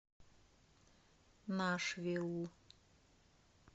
нашвилл